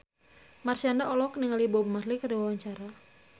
Marshanda olohok ningali Bob Marley keur diwawancara